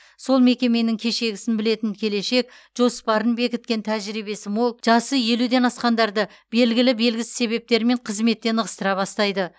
сол мекеменің кешегісін білетін келешек жоспарын бекіткен тәжірибесі мол жасы елуден асқандарды белгілі белгісіз себептермен қызметтен ығыстыра бастайды